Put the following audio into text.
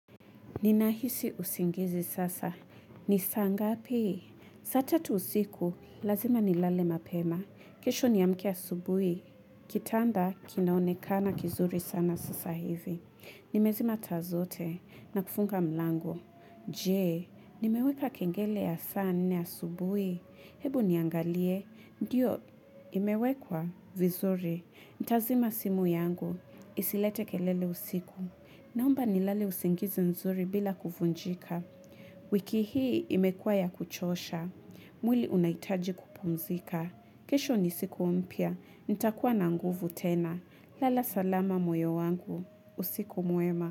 Ninahisi usingizi sasa. Ni saa ngapi? Saa tatu usiku, lazima nilale mapema. Kesho niamke asubuhi. Kitanda, kinaonekana kizuri sana sasa hivi. Nimezima taa zote na kufunga mlango. Je, nimeweka kengele ya saa nne asubuhi. Hebu niangalie. Ndiyo, imewekwa vizuri. Nitazima simu yangu. Isilete kelele usiku. Naomba nilale usingizi nzuri bila kuvunjika. Wiki hii imekuwa ya kuchosha. Mwili unahitaji kupumzika. Kesho ni siku mpya. Nitakuwa na nguvu tena. Lala salama moyo wangu. Usiku mwema.